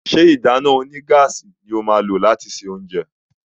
ṣe ìdáná onígáàsì ní o má lo lati ṣe oúnjẹ?